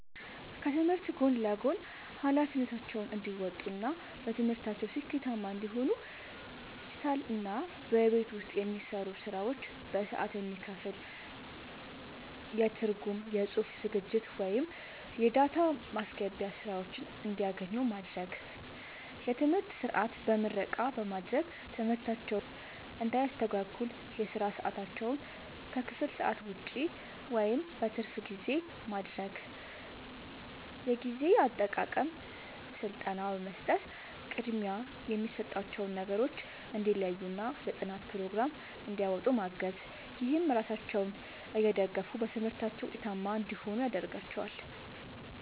ከትምህርት ጎን ለጎን ኃላፊነታቸውን እንዲወጡ እና በትምህርታቸው ስኬታማ እንዲሆኑ ዲጂታልና በቤት ውስጥ የሚሰሩ ስራዎች በሰዓት የሚከፈል የትርጉም፣ የጽሑፍ ዝግጅት ወይም የዳታ ማስገባት ሥራዎችን እንዲያገኙ ማድረግ። የትምህርት ሰዓት በምረቃ በማድረግ ትምህርታቸውን እንዳያስተጓጉል የሥራ ሰዓታቸውን ከክፍል ሰዓት ውጭ (በትርፍ ጊዜ) ማድረግ። የጊዜ አጠቃቀም ሥልጠና በመስጠት ቅድሚያ የሚሰጣቸውን ነገሮች እንዲለዩና የጥናት ፕሮግራም እንዲያወጡ ማገዝ። ይህም ራሳቸውን እየደገፉ በትምህርታቸው ውጤታማ እንዲሆኑ ያደርጋቸዋል።